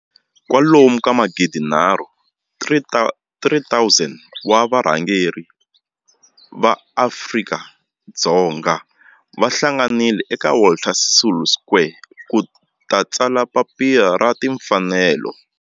kwalomu ka magidi nharhu 3 000 wa varhangeri va maAfrika-Dzonga va hlanganile eka Walter Sisulu Square ku ta tsala Papila ra Timfanelo.